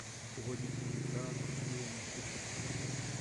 сегодняшняя игра астон вилла манчестер сити